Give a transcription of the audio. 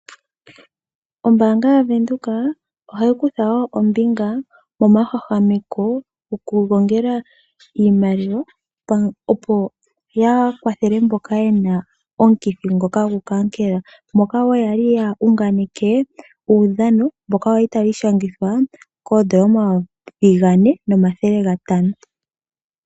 Ombaanga yaVenduka ohayi kutha ombinga momahwahwameko gokugongela iimaliwa opo ya kwathele mboka yena omukithi ngoka gokankela. Okwali woo ya unganeke uudhano mboka kwali tawu ishangithwa ko N$4500